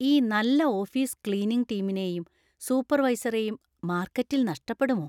ഈ നല്ല office cleaning ടീമിനെയും സൂപ്പർവൈസറെയും മാർക്കറ്റിൽ നഷ്ടപ്പെടുമോ?